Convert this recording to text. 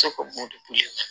Se ka bɔn de